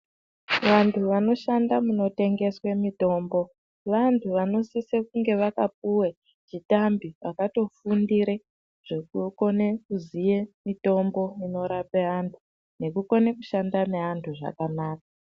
Vanthu vanoshanda munotengeswe mutombo vanthu vanosisire kunge vakapuwe chitambi vakatofundire zvekutokone kuziye mitombo inorape anthu nekukone kushanda neanthu zvakanaka.